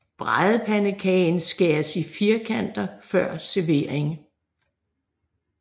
Bradepandekagen skæres i firkanter før servering